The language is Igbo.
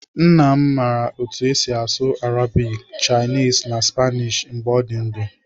Nna m mara otú esi asụ Arabic, Chinese na Spanish mgbe ọ dị ndụ.